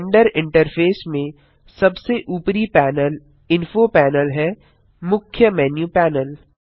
blender interface में सबसे ऊपरी पैनल इन्फो पैनल है मुख्य मेन्यू पैनल